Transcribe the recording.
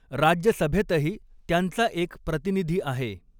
राज्यसभेतही त्यांचा एक प्रतिनिधी आहे.